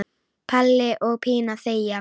Palli og Pína þegja.